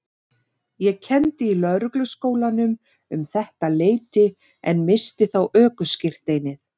Ég kenndi í Lögregluskólanum um þetta leyti en missti þá ökuskírteinið.